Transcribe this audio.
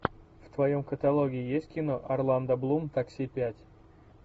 в твоем каталоге есть кино орландо блум такси пять